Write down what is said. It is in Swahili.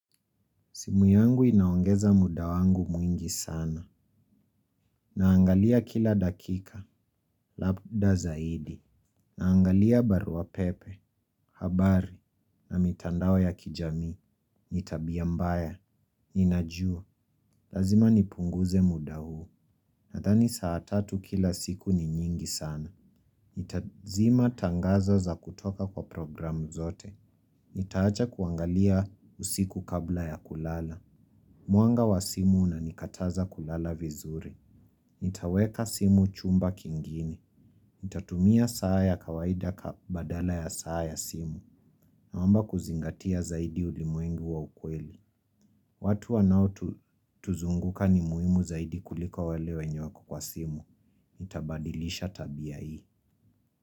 Simu yangu inaongeza muda wangu mwingi sana. Naangalia kila dakika, labda zaidi. Naangalia barua pepe, habari na mitandao ya kijamii. Ni tabia mbaya, ninajua. Lazima nipunguze muda huu. Nadhani saa tatu kila siku ni nyingi sana. Nitazima tangazo za kutoka kwa programu zote. Nitaacha kuangalia usiku kabla ya kulala. Mwanga wa simu unanikataza kulala vizuri. Nitaweka simu chumba kingine. Nitatumia saa ya kawaida ka badala ya saa ya simu. Naomba kuzingatia zaidi ulimwengu wa ukweli. Watu wanaotuzunguka ni muhimu zaidi kuliko wale wenye wako kwa simu. Nitabadilisha tabia hii.